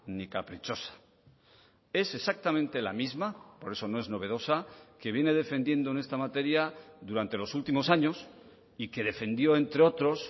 ni caprichosa es exactamente la misma por eso no es novedosa que viene defendiendo en esta materia durante los últimos años y que defendió entre otros